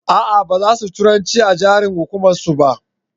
a'a baza su turanci a yaren hukumar su ba